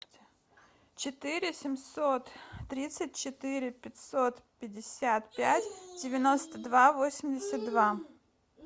четыре семьсот тридцать четыре пятьсот пятьдесят пять девяносто два восемьдесят два